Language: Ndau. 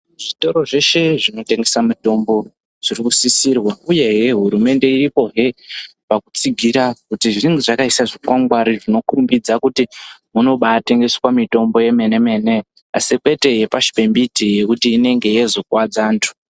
Zvitoro zveshe zvinotengese mitombo zviri kusisirwa uye hurumende iripoye pakutsigira kuti zvinge zvakaisa zvikwangwari zvinokurumbidza kuti munobari tengesa mitombo yomene mene asi kwete yepashi pembiti yekuti inenge yozokuadza antu.